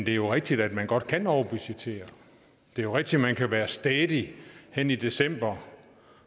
er jo rigtigt at man godt kan overbudgettere det er rigtigt at man kan være stædig henne i december